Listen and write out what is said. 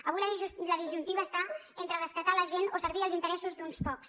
avui la disjuntiva està entre rescatar la gent o servir els interessos d’uns pocs